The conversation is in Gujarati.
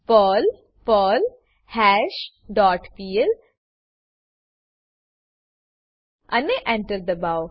પર્લ પર્લ્હાશ ડોટ પીએલ અને Enter દબાઓ